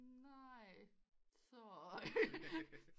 Nej så